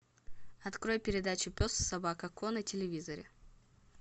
открой передачу пес и собака ко на телевизоре